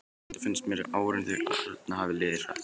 Enda finnst mér sem árin þau arna hafi liðið hratt.